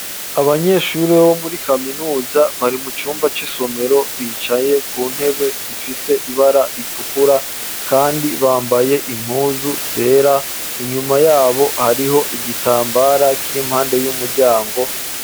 Abanyeshure, bo muri kaminuza, bari mu cumba c'isomero, bicaye ku ntebe, zifise ibara ritukura, kandi bambaye, impuzu zera; inyuma y'abo, hariho igitambara, kiri impande y'umuryango.